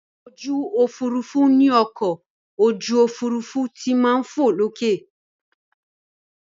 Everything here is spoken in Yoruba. Ojú òfurufú ni ọkọ̀ ojú òfurufú ti máa ń fò